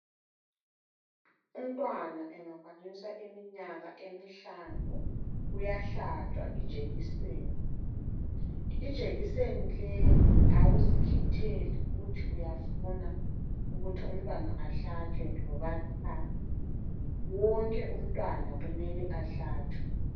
Umntwana engakwanisa iminyaka emihlanu uyahlatshwa ijekiseni, ijekiseni leyi awuzikhetheli ukuthi uyafuna ukuthi umntwana ahlatshwe loba qha wonke umntwana kumele ahlatshwe.